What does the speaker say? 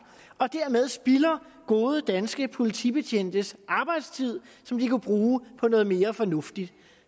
og dermed spilder gode danske politibetjentes arbejdstid som de kunne bruge på noget mere fornuftigt